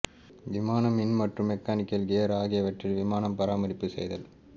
விமானம் மின் மற்றும் மெக்கானிக்கல் கியர் ஆகியவற்றில் விமானம் பராமரிப்பு செய்தல்